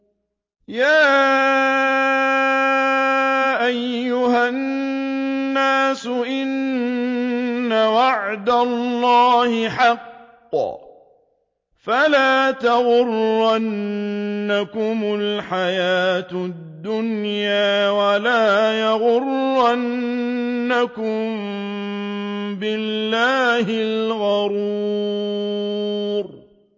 يَا أَيُّهَا النَّاسُ إِنَّ وَعْدَ اللَّهِ حَقٌّ ۖ فَلَا تَغُرَّنَّكُمُ الْحَيَاةُ الدُّنْيَا ۖ وَلَا يَغُرَّنَّكُم بِاللَّهِ الْغَرُورُ